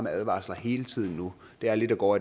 advarsler hele tiden nu det er lidt at gå